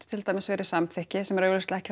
til dæmis verið samþykki sem er augljóslega ekki